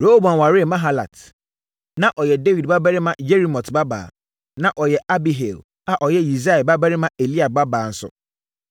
Rehoboam waree Mahalat. Na ɔyɛ Dawid babarima Yerimot babaa. Na ɔyɛ Abihail a ɔyɛ Yisai babarima Eliab babaa nso.